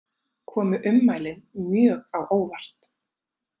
Komu ummælin mjög á óvart